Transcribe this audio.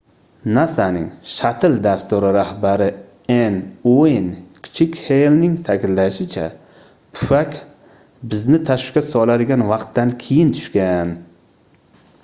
nasaning shattle dasturi rahbari n ueyn kichik heylning taʼkidlashicha pufak bizni tashvishga soladigan vaqtdan keyin tushgan